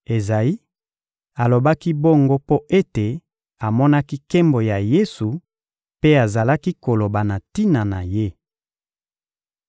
Ezayi alobaki bongo mpo ete amonaki Nkembo ya Yesu mpe azalaki koloba na tina na Ye.